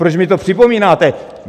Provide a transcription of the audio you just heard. Proč mi to připomínáte?